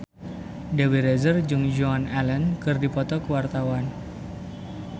Dewi Rezer jeung Joan Allen keur dipoto ku wartawan